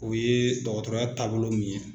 O ye dɔgɔtɔrɔya taabolo min ye